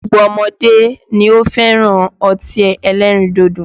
Gbogbo ọmọdé ni ó fẹ́ràn ọtí ẹlẹ́rìndòdò